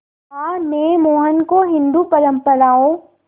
मां ने मोहन को हिंदू परंपराओं